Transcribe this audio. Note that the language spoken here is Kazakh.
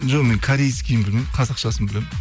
жоқ мен корейскиін білмеймін қазақшасын білемін